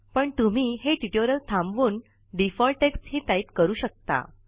पण तुम्ही हे टयूटोरिअल थांबवून डिफॉल्ट टेक्स्ट हि टाईप करू शकता